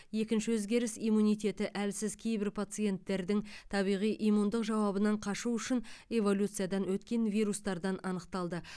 екінші өзгеріс иммунитеті әлсіз кейбір пациенттердің табиғи иммундық жауабынан қашу үшін эволюциядан өткен вирустардан анықталды